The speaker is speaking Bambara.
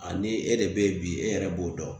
ni e de be yen bi e yɛrɛ b'o dɔn